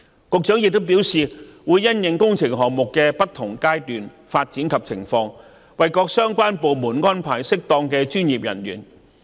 局長亦表示，會因應工程項目的不同階段和發展情況，為各相關部門安排適當的專業人員。